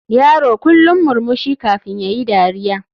Yaro kullum murmushi kafin yayi dariya.